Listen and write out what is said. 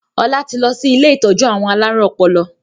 Ọlá tí lọ sí ilé ìtọ́jú àwọn alárùn ọpọlọ.